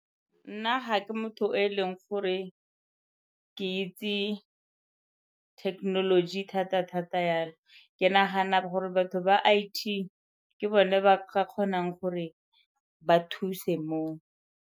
Nna ga ke motho yo e leng gore ke itse technology thata thata-thata yalo. Ke nagana gore batho ba I_T ke bone ba ka kgonang gore ba thuse moo.